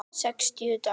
Sextíu dagar?